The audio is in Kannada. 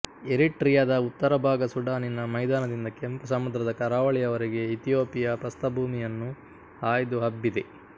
ಎರಿಟ್ರಿಯದ ಉತ್ತರ ಭಾಗ ಸುಡಾನಿನ ಮೈದಾನದಿಂದ ಕೆಂಪು ಸಮುದ್ರದ ಕರಾವಳಿಯವರೆಗೆ ಇಥಿಯೋಪಿಯ ಪ್ರಸ್ಥಭೂಮಿಯನ್ನು ಹಾಯ್ದು ಹಬ್ಬಿದೆ